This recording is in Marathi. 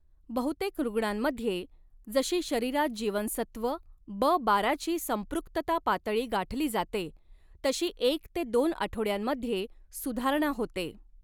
बहुतेक रुग्णांमध्ये, जशी शरीरात जीवनसत्व ब बाराची संपृक्तता पातळी गाठली जाते तशी एक ते दोन आठवड्यांमध्ये सुधारणा होते.